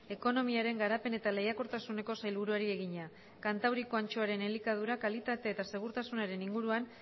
ekonomiaren garapen eta lehiakortasuneko sailburuari egina kantauriko antxoaren elikadura kalitate eta segurtasunaren inguruan